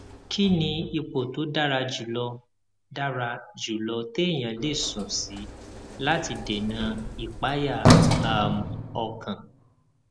kí ni ipò tó dára jù lọ dára jù lọ téèyàn lè sùn sí láti dènà ìpayà um ọkàn